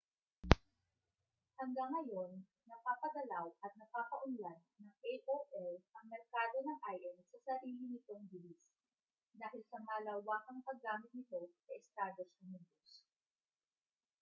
hanggang ngayon napapagalaw at napapaunlad ng aol ang merkado ng im sa sarili nitong bilis dahil sa malawakang paggamit nito sa estados unidos